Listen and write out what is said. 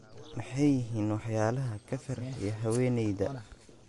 Maxay yihiin waxyaalaha ka farxiya haweeneyda?